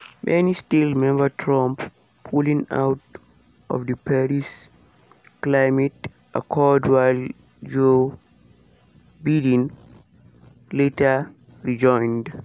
many still remember trump pulling out of di paris climate accord while joe biden later rejoined.